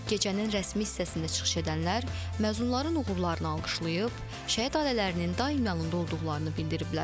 Gecənin rəsmi hissəsində çıxış edənlər məzunların uğurlarını alqışlayıb, şəhid ailələrinin daim yanında olduqlarını bildiriblər.